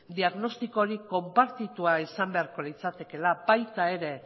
diagnostiko hori konpartitua izan beharko litzatekeela baita ere